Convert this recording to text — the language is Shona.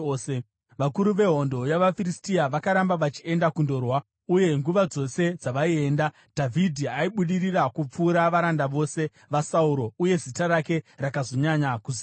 Vakuru vehondo yavaFiristia vakaramba vachienda kundorwa, uye nguva dzose dzavaienda, Dhavhidhi aibudirira kupfuura varanda vose vaSauro, uye zita rake rakazonyanya kuzivikanwa.